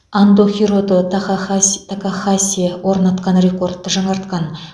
андо хирото тахахаси такахаси орнатқан рекордты жаңартқан